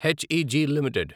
HEG limited